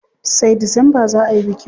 Sai Disamba za ayi bikin.